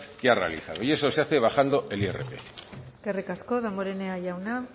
que ha realizado y eso se hace bajando el irpf eskerrik asko damborenea jauna